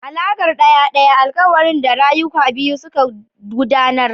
alakar daya-daya: alkawarin da rayuka biyu suka yi don gudanar da rayuwa tare.